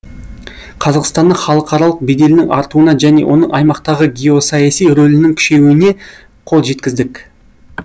қазақстанның халықаралық беделінің артуына және оның аймақтағы геосаяси рөлінің күшеюіне қол жеткіздік